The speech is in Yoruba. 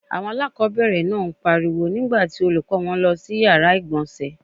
Àwọn aláàkọ́bẹ̀rẹ̀ náà ń pariwo nígbà tí Olùkọ́ọ wọn lọ sí yàrá ìgbọ̀nsẹ̀